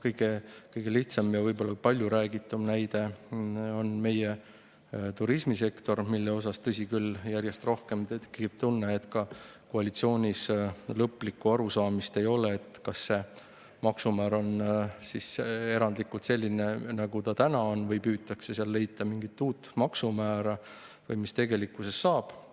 Kõige lihtsam ja palju räägitud näide on meie turismisektor, mille puhul, tõsi küll, järjest rohkem tekib tunne, et ka koalitsioonis ei ole lõplikku arusaamist, kas see maksumäär on erandlikult selline, nagu ta täna on, või püütakse seal leida mingit uut maksumäära või mis tegelikkuses saab.